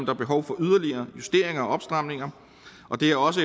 er behov for yderligere justeringer og opstramninger og det er også